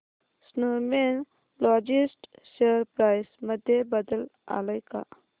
Snowman logist share price मध्ये बदल आलाय का